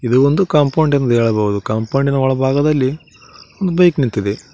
ಇದು ಒಂದು ಕಾಂಪೌಂಡ್ ಎಂದು ಹೇಳಬಹುದು ಕಂಪೌಂಡಿನ ಒಳಭಾಗದಲ್ಲಿ ಬೈಕ್ ನಿಂತಿದೆ.